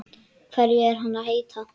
Hverju er hann að heita?